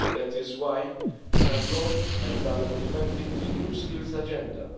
That is why we have launched and are implementing the New Skills Agenda.